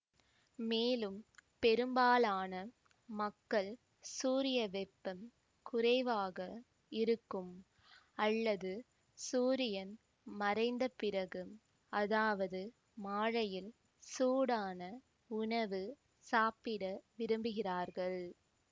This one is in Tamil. மேலும் பெரும்பாலான மக்கள் சூரியவெப்பம் குறைவாக இருக்கும் அல்லது சூரியன் மறைந்த பிறகு அதாவது மாலையில் சூடான உணவு சாப்பிட விரும்புகிறார்கள்